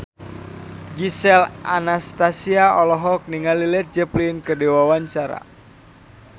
Gisel Anastasia olohok ningali Led Zeppelin keur diwawancara